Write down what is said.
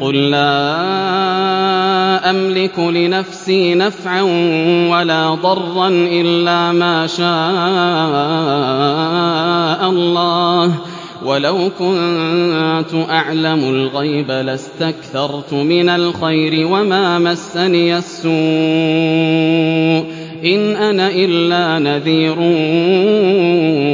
قُل لَّا أَمْلِكُ لِنَفْسِي نَفْعًا وَلَا ضَرًّا إِلَّا مَا شَاءَ اللَّهُ ۚ وَلَوْ كُنتُ أَعْلَمُ الْغَيْبَ لَاسْتَكْثَرْتُ مِنَ الْخَيْرِ وَمَا مَسَّنِيَ السُّوءُ ۚ إِنْ أَنَا إِلَّا نَذِيرٌ